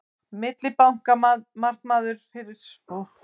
millibankamarkaður fyrir gjaldeyri er skipulagður vettvangur meðal bankastofnana